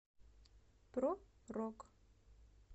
про рок